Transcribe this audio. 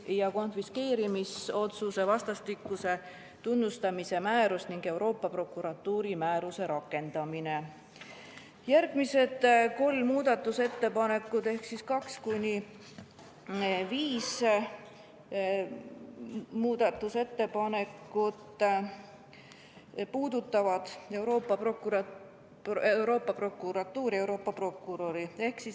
Järgmised neli muudatusettepanekut ehk 2.–5. muudatusettepanek puudutavad Euroopa Prokuratuuri ja Euroopa prokuröri.